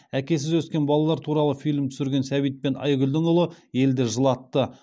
әкесіз өскен балалар туралы фильм түсірген сәбит пен айгүлдің ұлы елді жылатты